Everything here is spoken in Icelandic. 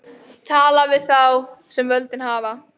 Tala við þá sem völdin hafa.